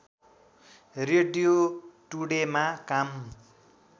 radio टुडेमा काम